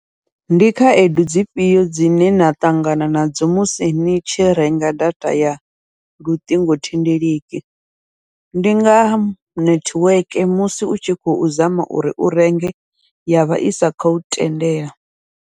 Ndi khaedu dzifhio dzine na ṱangana nadzo musi ni tshi renga data ya luṱingothendeleki, ndi nga nethiweke musi u tshi khou zama uri u renge yavha isa khou tendela.